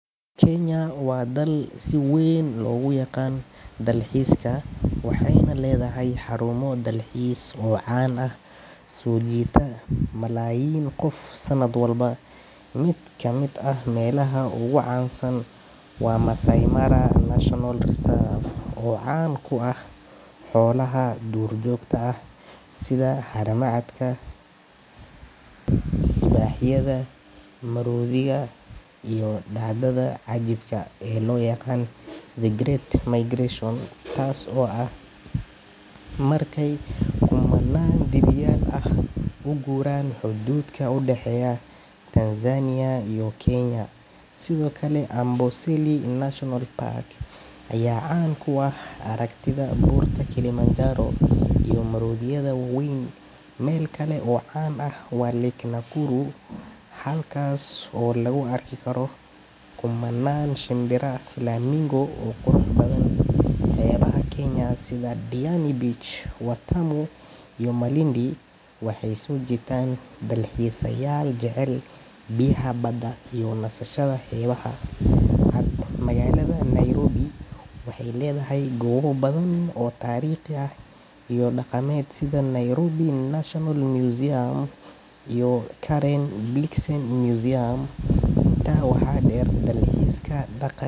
Kenya waa dal si weyn loogu yaqaan dalxiiska, waxayna leedahay xarumo dalxiis oo caan ah oo soo jiita malaayiin qof sanad walba. Mid ka mid ah meelaha ugu caansan waa Maasai Mara National Reserve, oo caan ku ah xoolaha duurjoogta ah sida haramaha, libaaxyada, maroodiyada, iyo dhacdada cajiibka ah ee loo yaqaan The Great Migration taasoo ah markay kumannaan dibiyaal ah u guuraan xuduudka u dhexeeya Tanzania iyo Kenya. Sidoo kale, Amboseli National Park ayaa caan ku ah aragtida buurta Kilimanjaro iyo maroodiyada waaweyn. Meel kale oo caan ah waa Lake Nakuru, halkaas oo lagu arki karo kumannaan shinbiraha flamingo oo qurux badan. Xeebaha Kenya sida Diani Beach, Watamu iyo Malindi waxay soo jiitaan dalxiisayaal jecel biyaha badda iyo nasashada xeebaha cad. Magaalada Nairobi waxay leedahay goobo badan oo taariikhi ah iyo dhaqameed sida Nairobi National Museum iyo Karen Blixen Museum. Intaa waxaa dheer, dalxiiska dhaqanka.